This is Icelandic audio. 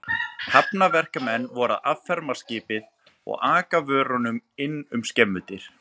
Hafnarverkamenn voru að afferma skipið og aka vörunum inn um skemmudyr.